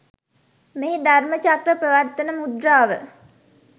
මෙහි ධර්ම චක්‍ර ප්‍රවර්තන මුද්‍රාව